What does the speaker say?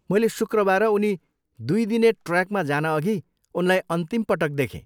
मैले शुक्रबार उनी दुई दिने ट्रेकमा जानअघि उनलाई अन्तिम पटक देखेँ।